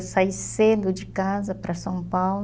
Eu saí cedo de casa para São Paulo.